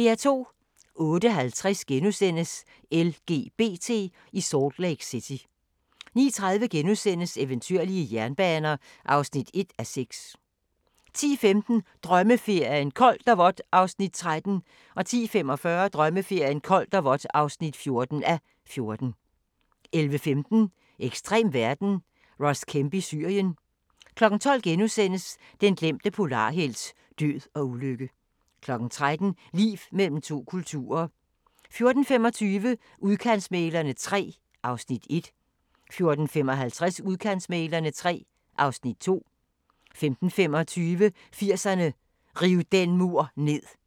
08:50: LGBT i Salt Lake City * 09:30: Eventyrlige jernbaner (1:6)* 10:15: Drømmeferien: Koldt og vådt (13:14) 10:45: Drømmeferien: Koldt og vådt (14:14) 11:15: Ekstrem verden – Ross Kemp i Syrien 12:00: Den glemte polarhelt: Død og ulykke * 13:00: Liv mellem to kulturer 14:25: Udkantsmæglerne III (Afs. 1) 14:55: Udkantsmæglerne III (Afs. 2) 15:25: 80'erne: Riv den mur ned